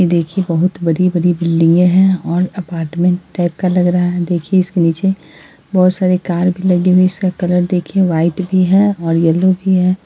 देखिये ये बहुत बड़ी-बड़ी बिल्डिंगे है और अपार्टमेंट टाइप का लग रहा है| देखिये इसके नीचे बहुत सारी कार भी लगी हुई हैं | इसका कलर देखिये व्हाइट भी है और येल्लो भी है।